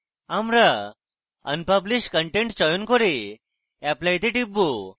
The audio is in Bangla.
আমি unpublish content চয়ন করে apply তে টিপব